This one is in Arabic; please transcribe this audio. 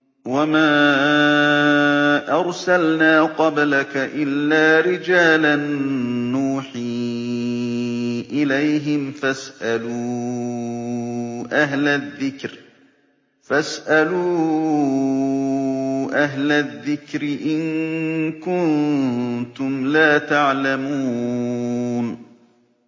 وَمَا أَرْسَلْنَا قَبْلَكَ إِلَّا رِجَالًا نُّوحِي إِلَيْهِمْ ۖ فَاسْأَلُوا أَهْلَ الذِّكْرِ إِن كُنتُمْ لَا تَعْلَمُونَ